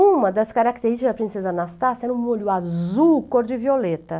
Uma das características da princesa Anastácia era um olho azul, cor de violeta.